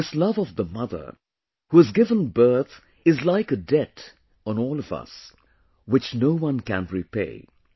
This love of the mother who has given birth is like a debt on all of us, which no one can repay